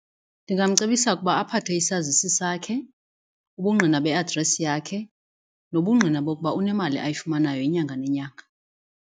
Ndingamcebisa ukuba aphathe isazisi sakhe, ubungqina be-address yakhe nobungqina bokuba unemali ayifumanayo inyanga nenyanga.